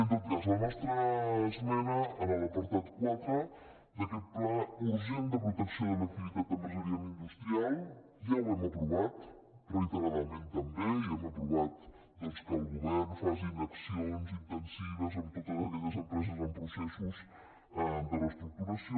en tot cas la nostra esmena a l’apartat quatre d’aquest pla urgent de protecció de l’activitat empresarial i industrial ja ho hem aprovat reiteradament també i hem aprovat doncs que el govern faci accions intensives amb totes aquelles empreses en processos de reestructuració